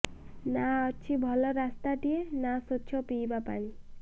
ନା ଅଛି ଭଲ ରାସ୍ତାଟିଏ ନା ସ୍ୱଚ୍ଛ ପିଇବା ପାଣି